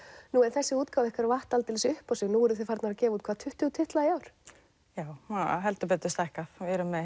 þessi útgáfa ykkar vatt aldeilis upp á sig nú eruð farnar að gefa út hvað tuttugu titla í ár já hefur heldur betur stækkað við erum með